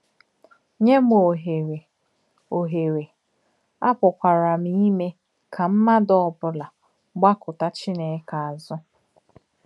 Nyè m òhèré, á òhèré, á pùkwàrā m ìmè kà mmádụ̀ ọ̀bụ́là gbàkùtà Chínèkè àzù.